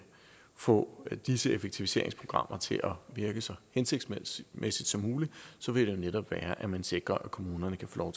få disse effektiviseringsprogrammer til at virke så hensigtsmæssigt som muligt så vil det netop være at man sikrer at kommunerne kan få